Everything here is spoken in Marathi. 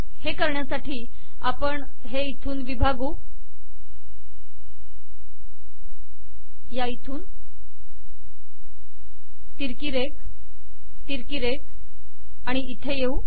हे करण्यासाठी आपण हे इथून विभागू तिरकी रेघ तिरकी रेघ आणि इते येऊ